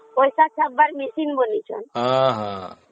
ପଇସା ଦେବାର ମେସିନ ବନେଇଛନ୍ତି